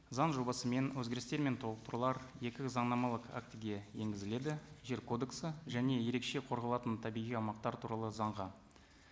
заң жобасы мен өзгерістер мен толықтырулар екі заңнамалық актіге енгізіледі жер кодексі және ерекше қорғалатын табиғи аумақтар туралы заңға